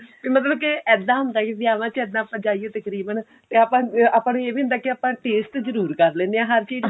ਤੇ ਮਤਲਬ ਕਿ ਇੱਦਾਂ ਹੁੰਦਾ ਕੀ ਵਿਆਹਵਾਂ ਚ ਆਪਾਂ ਜਾਈਏ ਤਕਰੀਬਨ ਤੇ ਆਪਾਂ ਨੂੰ ਇਹ ਵੀ ਹੁੰਦਾ ਕਿ ਆਪਾਂ ਨੂੰ taste ਜਰੂਰ ਕਰ ਲਿੰਦੇ ਹਾਂ ਹਰ ਚੀਜ਼